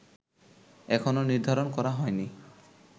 এখনো নির্ধারণ করা হয়নি